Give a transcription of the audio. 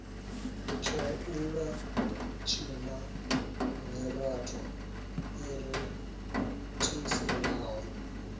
tshaula tshina miratho i rathiselaho